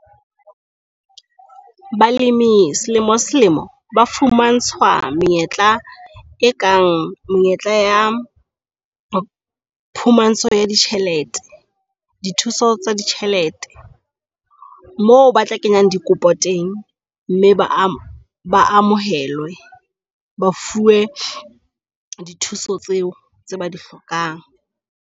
Balemi selemo selemo ba fumantshwa menyetla e nkang menyetla ya ya phumantsho ya di tjhelete di thuso tsa ditjhelete. Moo ba tla kenyang dikopo teng mme ba amohelwe, ba fuwe thuso tseo tse o ba di hlokang.